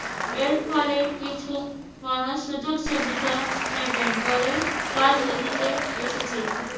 এর ফলে কিছু মানুষ সুযোগ-সুবিধা নেবেন বলেই রাজনীতিতে এসেছে।